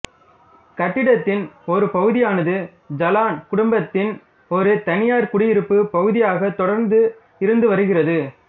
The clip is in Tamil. கட்டிடத்தின் ஒரு பகுதியானது ஜலான் குடும்பத்தின் ஒரு தனியார் குடியிருப்பு பகுதியாக தொடர்ந்து இருந்து வருகிறது